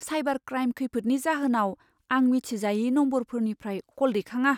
Cyber crime खैफोदनि जाहोनाव आं मिथिजायै नम्बरफोरनिफ्राय क'ल दैखाङा।